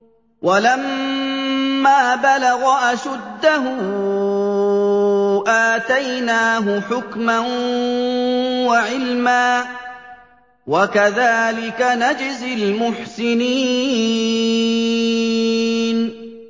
وَلَمَّا بَلَغَ أَشُدَّهُ آتَيْنَاهُ حُكْمًا وَعِلْمًا ۚ وَكَذَٰلِكَ نَجْزِي الْمُحْسِنِينَ